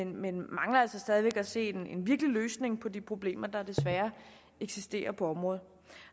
men mangler altså stadig væk at se en virkelig løsning på de problemer der desværre eksisterer på området